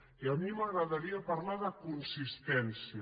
i a mi m’agradaria parlar de consistència